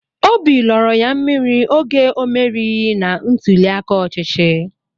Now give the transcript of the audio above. Óbị lọrọ ya mmiri oge o merighi na ntuli aka ọchịchị